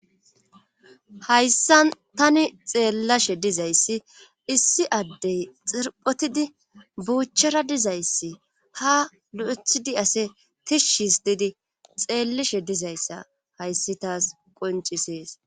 Hayssa tani xeellashe dizayssi issi addey xirphotidi buuchchara dizayssi ha lo7ethidi ase tishshis diidi xeellishe dizayssa hayssi taas qoncisees